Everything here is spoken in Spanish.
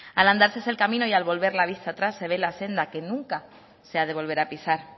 al andar se hace el camino y al volver la vista atrás se ve la senda que nunca se ha de volver a pisar